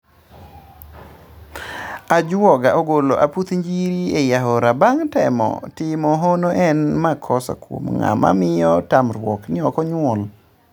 Ajuaga ogolo aputh njiri ei aora bang' temo timo hono en makosa kuom ng'ama miyo tamruok ni ok onyuol